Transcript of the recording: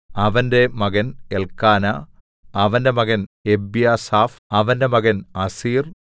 അവന്റെ മകൻ എൽക്കാനാ അവന്റെ മകൻ എബ്യാസാഫ് അവന്റെ മകൻ അസ്സീർ